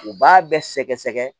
U b'a bɛɛ sɛgɛsɛgɛ